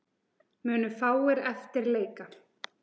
Munu fáir eftir leika.